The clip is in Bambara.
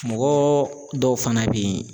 Mɔgɔ dɔw fana be yen